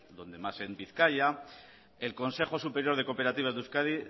donde más en bizkaia el consejo superior de cooperativas de euskadi